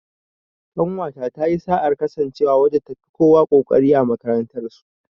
Ƙanwata ta yi sa'ar kasancewa wadda ta fi kowa ƙoƙari a makarantar su.